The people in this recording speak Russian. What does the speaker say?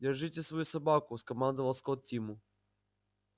держите свою собаку скомандовал скотт тиму